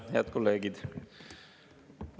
Head kolleegid!